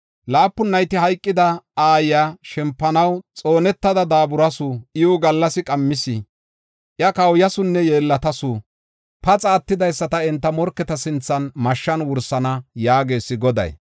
Laapun nayti hayqida aayiya shempanaw xoonetada daaburasu. Iwu gallasi qammis; iya kawuyasunne yeellatasu. Paxa attidaysata enta morketa sinthan mashshan wursana” yaagees Goday.